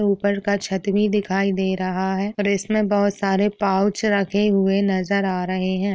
ऊपर का छत भी दिखाई दे रहा है और इसमें बहुत सारे पाउच रखे हुए नजर आ रहे हैं।